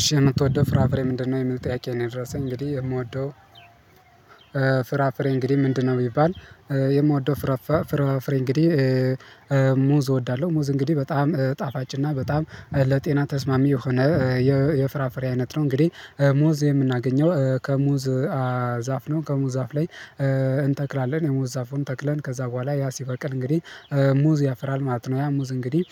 እሺ የምትወደው ፍራፍሬ ምንድነው? የሚል ጥያቄ ነው የደረሰኝ እንግዲህ የምወደው ፍራፍሬ እንግዲህ ምንድነው? ቢባል የምወደው ፍራፋፍሬ እንግዲህ ሙዝ እወዳለሁ፤ ሙዝ እንግዲህ በጣም ጣፋጭ እና በጣም ለጤና ተስማሚ የሆነ የፍራፍሬ አይነት ነው። እንግዲህ ሙዝ የምናገኘው ከሙዝ ዛፍ ነው። ከሙዝ ዛፍ ላይ እንተክላለን። የሙዝ ዛፉን ተክለን። ከዛ በኋላ ያ ሲበቅል እንግዲህ ሙዝ ያፍራል ማለት ነ። ያ ሙዝ እንግዲህ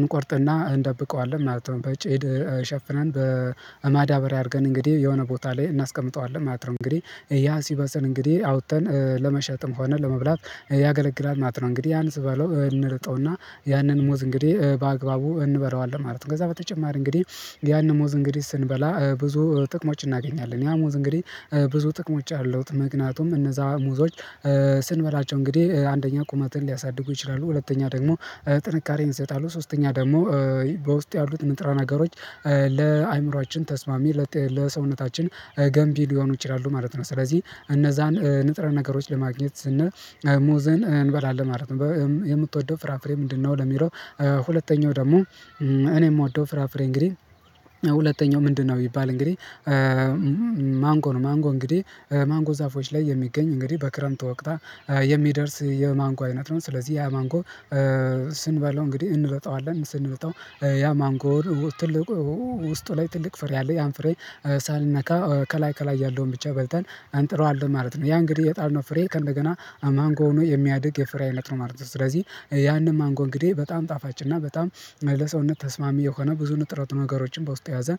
እንቆርጥና እንደብቀዋለን ማለት ነው። በጭድ ሸፍነን በማዳበሪያ አድርገን እንግዲህ የሆነ ቦታ ላይ እናስቀምጠዋለን። ማለት ነው እንግዲህ ያ ሲበስል እንግዲህ አውጥተን ለመሸጥም ሆነ ለመብላት ያገለግላል ማለት ነው። እንግዲህ ያንን ስበለው እንልጠውና ያንን ሞዝ እንግዲህ በአግባቡ እንበላዋለን ማለት ነ። ከዛ በተጨማሪ እንግዲህ ያን ሙዝ እንግዲህ ስንበላ ብዙ ጥቅሞች እናገኛለን። ያ ሙዝ እንግዲህ ብዙ ጥቅሞች አሉት ምክንያቱም እነዛ ሙዞች ስንበላቸው እንግዲህ አንደኛ ቁመትን ሊያሳድጉ ይችላሉ፣ ሁለተኛ ደግሞ ጥንካሬን ይሰጣሉ፣ ሶስተኛ ደግሞ በውስጥ ያሉት ንጥረ ነገሮች ለአእምሮአችን ተስማሚ፣ ለጤ ለሰውነታችን ገንቢ ሊሆኑ ይችላሉ። ማለት ነው ስለዚህ እነዛን ንጥረ ነገሮች ለማግኘት ስንል ሙዘን እንበላለን ማለት ነው። የምትወደው ፍራፍሬ ምንድነው? ለሚለው ሁለተኛው ደግሞ እኔ የምወደው ፍራፍሬ እንግዲህ ሁለተኛው ምንድነው ቢባል? እንግዲህ ማንጎ ነው። ማንጎ እንግዲህ ማንጎ ዛፎች ላይ የሚገኝ እንግዲህ በክረምቱ ወቅታ የሚደርስ የማንጎ አይነት ነው። ስለዚህ ያ ማንጎ ስንበለው እንግዲህ እንልጠዋለን ስንልጠው ያማንጎር ትልቁ ውስጡ ላይ ትልቅ ፍሬ አለ። ያን ፍሬ ሳንነካ ከላይ ከላይ ያለውን ብቻ በልተን አንጥለዋለን ማለት ነው። ያ እንግዲህ የጣልነው ፍሬ ከእንደገና ማንጎ ሆኖ የሚያድግ የፍሬ አይነት ነው ማለት ነው። ስለዚህ ያንን ማንጎ እንግዲህ በጣም ጣፋጭና በጣም ለሰውነት ተስማሚ የሆነ ብዙ ንጥረት ነገሮችን በውስጥ የያዘ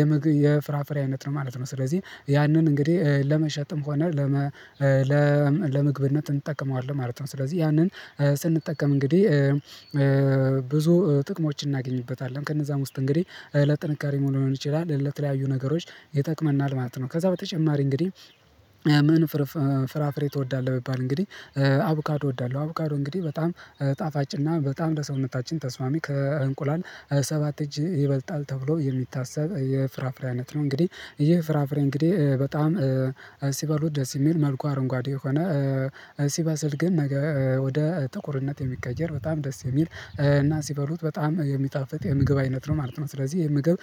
የምግ የፍራፍሬ አይነት ነው ማለት ነው። ስለዚህ ያንን እንግዲህ ለመሸጥም ሆነ ለ ለምግብነት እንጠቀመዋለን ማለት ነው። ስለዚህ ያንን ስንጠቀም እንግዲህ ብዙ ጥቅሞችን እናገኝበታለን። ከነዛም ውስጥ እንግዲህ ለጥንካሬ መሆን ይችላል። ለተለያዩ ነገሮች ይጠቅመናል ማለት ነው። ከዛ በተጨማሪ እንግዲህ ምን ፎር ፍራፍሬ ትወዳለህ? ቢባል እንግዲህ አቡካዶ እወዳለሁ። አቡካዶ እንግዲህ በጣም ጣፋጭ እና በጣም እንደ ሰውነታችን ተስማሚ ከእንቁላል ሰባት እጅ ይበልጣል። ተብሎ የሚታሰብ የፍራፍሬ አይነት ነው። እንግዲህ ይሄ ፍራፍሬ እንግዲህ በጣም ሲበሉት ደስ የሚል መልኩ አረንጓዴ የሆነ ሲበስል ግን ነገ ወደ ጥቁርነት የሚቀየር በጣም ደስ የሚል እና ሲበሉት በጣም የሚጣፍጥ የምግብ አይነት ነው። ማለት ነው ስለዚህ የምግብ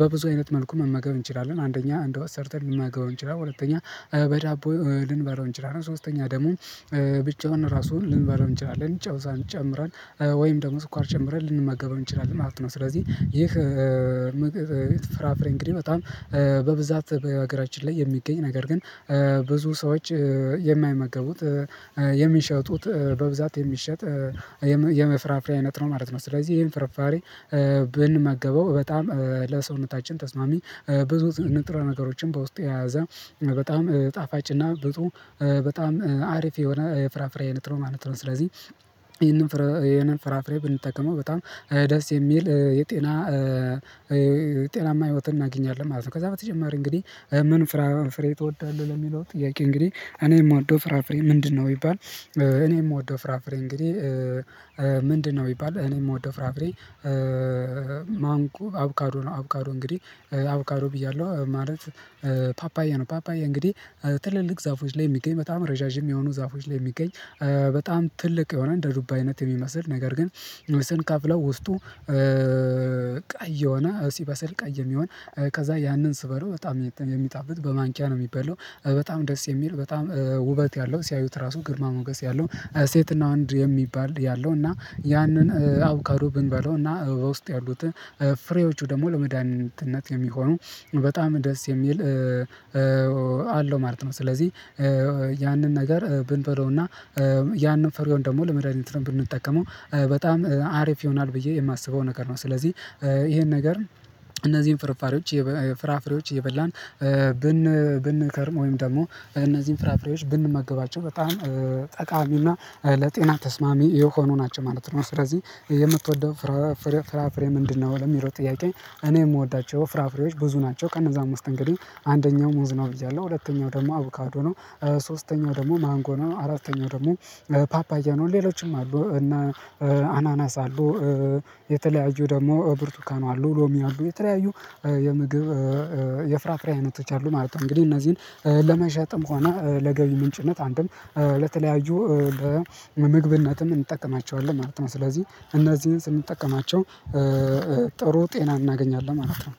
በብዙ አይነት መልኩ መመገብ እንችላለ። አንደኛ እንደወጥ ሰርተን ልንመገብ እንችላለ፤ ሁለተኛ በዳቦ ልንበረው እንችላለን፤ ሶስተኛ ደሞ ብቻውን ራሱን ልንበላው እንችላለን። ጨው ጨምረን ወይም ደግሞ ስኳር ጨምረን ልንመገበው እንችላለን። ማለት ነው ስለዚህ ይህ ፍራፍሬ እንግዲህ በጣም በብዛት በሀገራችን ላይ የሚገኝ ነገር ግን፤ ብዙ ሰዎች የማይመገቡት የሚሸጡት በብዛት የሚሸጥ የመፍራፍሪ አይነት ነው ማለት ነው። ስለዚህ ይሄን ፍርፋሪ ብንመገበው በጣም ለሰውነታችን ተስማሚ ብዙ ንጥረ ነገሮችን በውስጤ የያዘ በጣም ጣፋጭና ብጡ በጣም አሪፍ የሆነ የፍራፍሬ አይነት ነው። ማለት ነው ስለዚህ ይሄንን ፍራፍሬ ብንጠቀመው በጣም ደስ የሚል የጤና የጤናማ ህይወትን እናገኛለን ማለት ነው። ከዛ በተጨማሪ እንግዲህ ምን ፍራ ፍሬ ትወዳለህ? ለሚለው ጥያቄ እንግዲህ እኔየምወደው ፍራፍሬ ምንድነው? ይባል እኔ ምወደው ፍራፍሬ እንግዲህ ምንድነ? ይባል እኔ የምወደው ፍራፍሬ ማንጎ፣ አቡካዶ ነው አቡካዶ እንግዲህ አቡካዶ ብያለሁ ማለት ፓፓያ ነው ፓፓያ እንግዲህ ትልልቅ ዛፎች ላይ የሚገኝ በጣም ረዣዥም የሆኑ ዛፎች ላይ የሚገኝ በጣም ትልቅ የሆነ እንደ ዱባይነት የሚመስል ነገር ግን ስንከፍለው ውስጡ ቀይ የሆነ ሲበሰል ቀይ የሚሆን ከዛ ያንን ስበለው በጣም የሚጣብጥ በማንኪያ ነው የሚበለው በጣም ደስ የሚል በጣም ውበት ያለው ሲያዩት ራሱ ግርማ ሞገስ ያለው ሴትና አንድ የሚባል ያለው እና ያንን አቡካዶ ብንበለው እና በውስጥ ያሉት ፍሬዎቹ ደግሞ ለመድኃኒትነት የሚሆኑ በጣም ደስ የሚል አለው ማለት ነው። ስለዚህ ያንን ነገር ብንበለውና ያንን ፈሪውን ደግሞ ለመዳኒት ነው ብንጠቀመው በጣም አሪፍ ይሆናል። ብዬ የማስበው ነገር ነው። ስለዚህ ይሄን ነገር እነዚህን ፍርፋሬዎች ፍራፍሬዎች እየበላን ብን ብንከርም ወይም ደግሞ እነዚህን ፍራፍሬዎች ብንመገባቸው በጣም ጠቃሚውና ለጤና ተስማሚ የሆኑ ናቸው ማለት ነው። ስለዚህ የምትወደው ፍራፍሬ ምንድነው? ለሚለው ጥያቄ እኔ የምወዳቸው ፍራፍሬዎች ብዙ ናቸው። ከነዛም ውስጥ እንግዲህ አንደኛው ሞዝ ነው። ብያለሁ ሁለተኛው ደግሞ አቡካዶ ነ። ሶስተኛው ደግሞ ማንጎ ነው። አራተኛው ደግሞ ፓፓያ ነው። ሌሎችም አሉ እና አናናስ አሉ። የተለያዩ ደግሞ ብርቱካኑ አሉ። ሎሚ አሉ። የተለያዩ የምግብ የፍራፍሬ አይነቶች አሉ ማለት ነው። እንግዲህ እነዚህን ለመሸጥም ሆና ለገቢ ምንጭነት አንድም ለተለያዩ በምግብነትም እንጠቀማቸዋለን። ማለት ነው። ስለዚህ እነዚህን ስንጠቀማቸው ጥሩ ጤና እናገኛለን ማለት ነው።